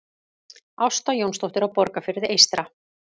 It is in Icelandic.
Ásta Jónsdóttir á Borgarfirði eystra